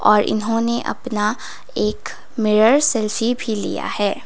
और इन्होंने अपना एक मिरर सेल्फी भी लिया है।